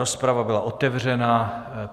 Rozprava byla otevřena.